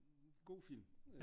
God film